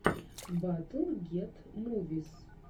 батл гет мувис